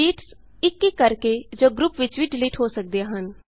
sheets ਇਕ ਇਕ ਕਰਕੇ ਜਾਂ ਗਰੁੱਪ ਵਿਚ ਵੀ ਡਿਲੀਟ ਹੋ ਸਕਦੀਆਂ ਹਨ